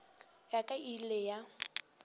ya ka e ile ya